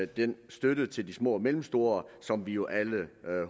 den støtte til de små og mellemstore som vi jo alle